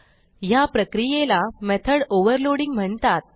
ह्या प्रक्रियेला method overloading म्हणतात